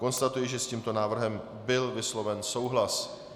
Konstatuji, že s tímto návrhem byl vysloven souhlas.